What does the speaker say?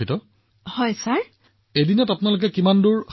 প্ৰধানমন্ত্ৰীঃ তেন্তে আপুনি এদিনত কিমান কৰিব পাৰে